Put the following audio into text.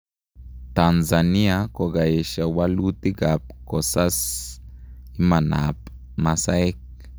Tanzania kokoesha walutik ap kosas imanaap masaek